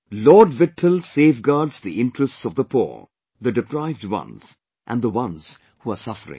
Lord Vitthal safeguards the interests of the poor, the deprived ones and the ones who are suffering